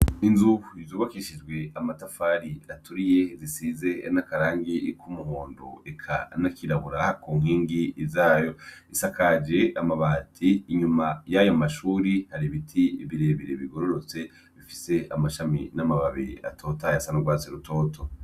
Inzu zubakishijwe amatafari aturiye, zisize n' akarangi k' umuhondo eka n' akirabura ku nkingi zayo . Zisakaje amabati inyuma yayo mashure hari ibiti birebire bigororotse bifise amashami n' amababi atotahaye asa n' urwatsi rutoto .